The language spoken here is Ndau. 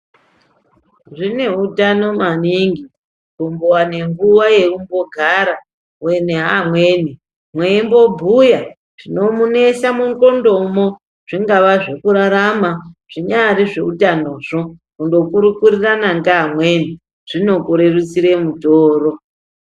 Zvine utano maningi, kumbowane nguwa yekumbogara uine amweni mweimbobhuya zvinomunesa mundlqondomwo ,zvingava zvekurarama, zvinyari zveutanozvo, kundokurukurirana ngaamweni, zvikokurerusire mutoro.